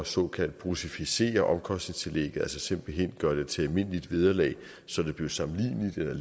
såkaldt bruttoficeret omkostningstillæg altså simpelt hen gøre det til et almindeligt vederlag så det blev sammenligneligt eller